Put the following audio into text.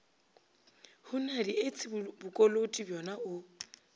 hunadi etse bokoloti bjona o